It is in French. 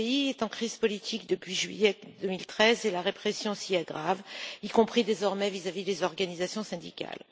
Ce pays est en crise politique depuis juillet 2013 et la répression s'y aggrave, y compris désormais vis à vis des organisations syndicales.